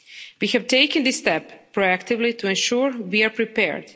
We have taken this step proactively to ensure we are prepared.